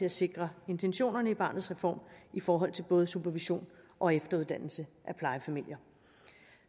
at sikre intentionerne i barnets reform i forhold til både supervision og efteruddannelse af plejefamilier